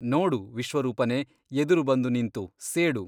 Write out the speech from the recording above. ನೋಡು ವಿಶ್ವರೂಪನೇ ಎದುರು ಬಂದು ನಿಂತು ಸೇಡು!